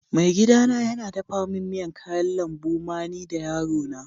Maigida na yana dafan miyan kayan lambu ma ni da yaro na.